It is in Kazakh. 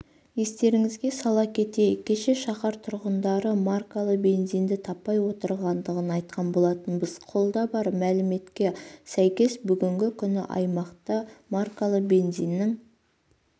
естеріңізге сала кетейік кеше шаһар тұрғындары маркалы бензинді таппай отырғандығын айтқан болатынбыз қолда бар мәліметке сәйкес бүгінгі күні аймақта маркалы бензиннің